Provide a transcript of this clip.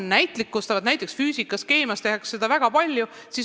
Näiteks füüsikas ja keemias tehakse seda väga palju.